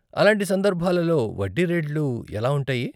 అలాంటి సందర్భాలలో వడ్డీ రేట్లు ఎలా ఉంటాయి?